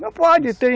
Não pode